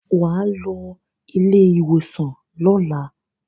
Wà á lọ ilé-ìwòsàn lọ́la.